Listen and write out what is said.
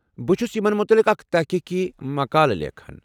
بہٕ چُھس یمن متعلق اکھ تحقیقی مقالہ لیکھان۔